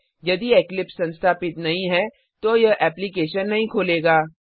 यदि इक्लिप्स संस्थापित नहीं है तो यह एप्लिकेशन नहीं खोलेगा